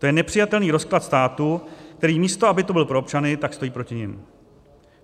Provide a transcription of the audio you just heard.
To je nepřijatelný rozklad státu, který místo aby tu byl pro občany, tak stojí proti nim.